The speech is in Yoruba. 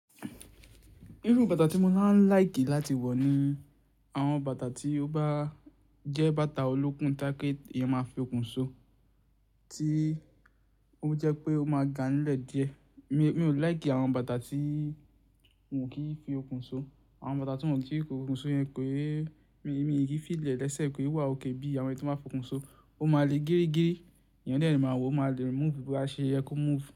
Irú bàtà tí mo máa ń like láti wọ̀ ni àwọn bàtà tí ó bá jẹ́ bàtà olókùn tayepe, èèyàn máa fi okùn so, tí ó jẹ́ pé ó máa gan lẹ́ẹ̀ díẹ̀. Mi, mi ò like àwọn bàtà tí won kí n fi okùn so. Àwọn bàtà tí won kí n fi okùn so yẹn ké mi, mi kin feel e lẹ́sẹ̀ kí ó wà òkay bí àwọn ẹyi tí wọ́n baa fi okùn so. Ó máa le géégé, èèyàn de máa wò ó máa le move, bo bá ṣe yẹ kó move.